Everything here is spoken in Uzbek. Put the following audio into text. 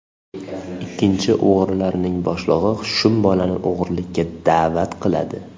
Ikkinchisi, o‘g‘rilarning boshlig‘i shum bolani o‘g‘irlikka da’vat qiladi.